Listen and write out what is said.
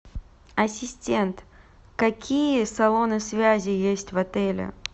ассистент какие салоны связи есть в отеле